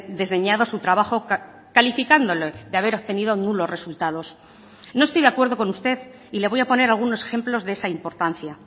desdeñado su trabajo calificándolo de haber obtenido nulos resultados no estoy de acuerdo con usted y le voy a poner algunos ejemplos de esa importancia